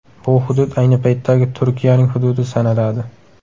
Bu hudud ayni paytdagi Turkiyaning hududi sanaladi.